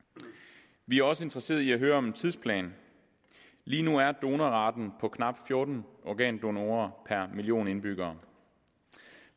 vi er også interesseret i at høre om en tidsplan lige nu er donorraten på knap fjorten organdonorer per en million indbyggere